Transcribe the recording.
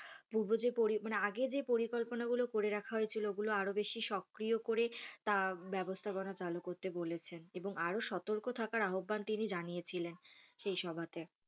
পূর্ব যে পরি মানে আগে যে পরিকল্পনাগুলো করে রাখা হয়েছিলো ওগুলো আরও বেশি সক্রিয় করে তার ব্যবস্থাপনা চালু করতে বলেছেন এবং আরও সতর্ক থাকার আহবান তিনি জানিয়েছিলেন সেই সভাতে।